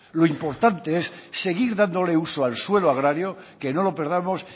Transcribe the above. lo importante es seguir dándole uso al suelo agrario que no lo perdamos